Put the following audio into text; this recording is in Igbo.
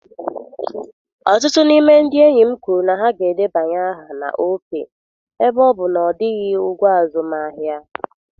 Ọtụtụ n'ime ndị enyi m kwuru na ha ga-edebanye aha na Opay Ebe ọ bụ na ọ dịghị ụgwọ azụmahịa